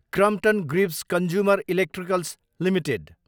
Crompton Greaves consumer electricals Ltd